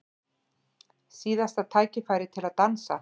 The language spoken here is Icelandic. Síðasta tækifærið til að dansa